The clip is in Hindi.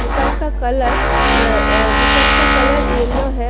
दुकान का कलर दुकान का कलर येलो है।